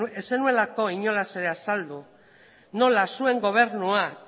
ez zenuelako inolaz ere azaldu nola zuen gobernuak